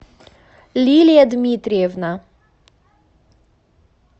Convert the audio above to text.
лилия дмитриевна